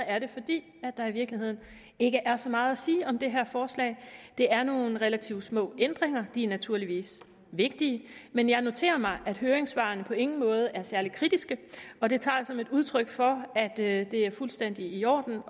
er det fordi der i virkeligheden ikke er så meget at sige om det her forslag det er nogle relativt små ændringer de er naturligvis vigtige men jeg noterer mig at høringssvarene på ingen måde er særlig kritiske og det tager jeg som et udtryk for at det er fuldstændig i orden